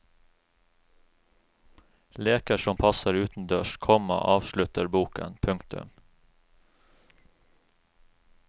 Leker som passer utendørs, komma avslutter boken. punktum